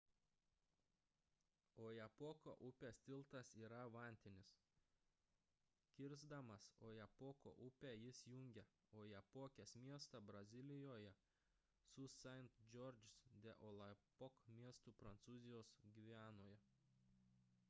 ojapoko upės tiltas yra vantinis kirsdamas ojapoko upę jis jungia ojapokės miestą brazilijoje su saint-georges de l'oyapock miestu prancūzijos gvianoje